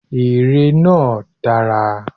Èrè náà dára.